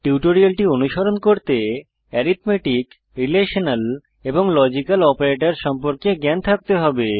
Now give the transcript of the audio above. টিউটোরিয়ালটি অনুসরণ করতে অ্যারিথমেটিক রিলেশনাল এবং লজিক্যাল অপারেটর সম্পর্কে জ্ঞান থাকতে হবে